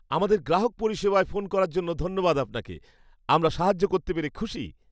আমাদের গ্রাহক পরিষেবায় ফোন করার জন্য ধন্যবাদ আপনাকে। আমরা সাহায্য করতে পেরে খুশি।